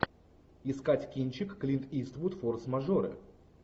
искать кинчик клинт иствуд форс мажоры